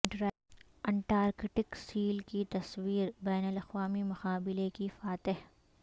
Antarctic seal کی تصویر بین الاقوامی مقابلے کی فاتح